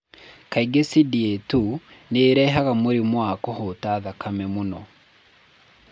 Kaingĩ CDA 2 nĩ ĩrehaga mũrimũ wa kũhũta thakame mũno.